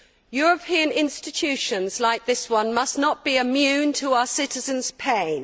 European institutions like this one must not be immune to our citizens' pain.